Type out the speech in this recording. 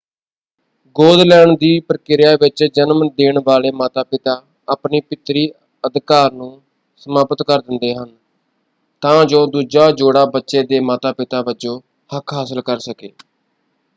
ਗੋਦ ਲੈਣ ਦੀ ਪ੍ਰਕਿਰਿਆ ਵਿੱਚ ਜਨਮ ਦੇਣ ਵਾਲੇ ਮਾਤਾ-ਪਿਤਾ ਆਪਣੇ ਪਿਤਰੀ ਅਧਿਕਾਰ ਨੂੰ ਸਮਾਪਤ ਕਰ ਦਿੰਦੇ ਹਨ ਤਾਂ ਜੋ ਦੂਜਾ ਜੋੜਾ ਬੱਚੇ ਦੇ ਮਾਤਾ-ਪਿਤਾ ਵਜੋਂ ਹੱਕ ਹਾਸਲ ਕਰ ਸਕੇ।